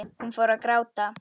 Hún fór að gráta.